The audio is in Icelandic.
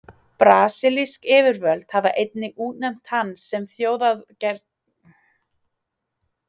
Brasilísk yfirvöld hafa einnig útnefnt hann sem þjóðargersemi.